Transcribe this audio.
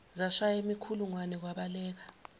zashaya imikhulungwane kwabaleka